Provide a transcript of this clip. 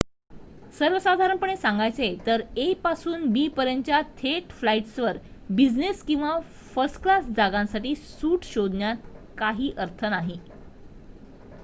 सर्वसाधारणपणे सांगायचे तर a पासून b पर्यंतच्या थेट फ्लाईट्सवर बिझनेस किंवा फर्स्टक्लास जागांसाठी सूट शोधण्यात काही अर्थ नाही